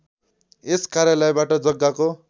यस कार्यालयबाट जग्गाको